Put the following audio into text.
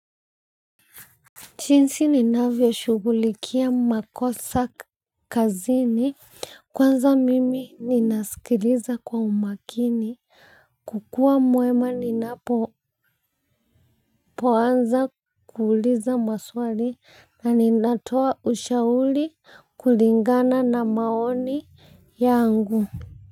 Chinsi ninavyo shugulikia makosa kazini kwanza mimi ninasikiliza kwa umakini kukua mwema ninapoanza kuuliza maswali na ninatoa ushauli kulingana na maoni ya angu.